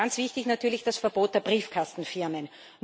Und ganz wichtig natürlich das Verbot der Briefkastenfirmen.